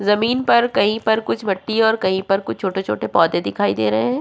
ज़मीन पर कही पर कुछ भट्ठी और कही पर कुछ छोटे-छोटे पौधे दिखाई दे रहे है।